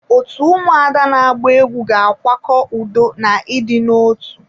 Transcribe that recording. Otu ụmụada na agba egwu ga akwado udo na idina otu.